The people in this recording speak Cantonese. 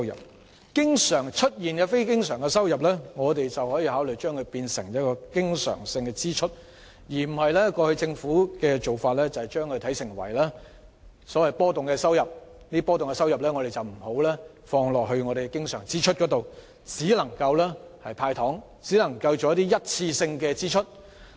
對於這些經常出現的非經常收入，我們可以考慮將之撥作經常性開支，而非如政府過往的做法般視之為波動收入，因而不會撥作經常性開支，而只會"派糖"或作一次性支出。